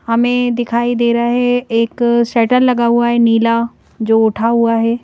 हमें दिखाइ दे रहा है एक शेटर लगा हुआ है नीला जो उठा हुआ है।